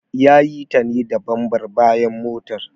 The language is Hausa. Ya yi ta ne da bambar bayan motar.